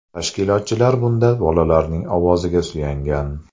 Tashkilotchilar bunda bolalarning ovoziga suyangan.